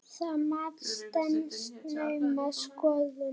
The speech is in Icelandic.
Það mat stenst naumast skoðun.